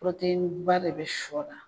ba de bɛ sɔ na